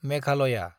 Meghalaya